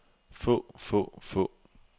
få få få